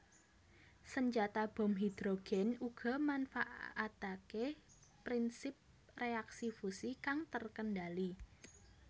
Senjata bom hidrogen uga manfaatake prinsip reaksi fusi kang terkendali